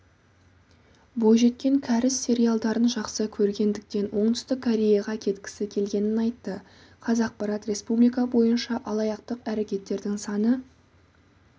бойжеткен кәріс сериалдарын жақсы көргендіктен оңтүстік кореяға кеткісі келгенін айтты қазақпарат республика бойынша алаяқтық әрекеттердің саны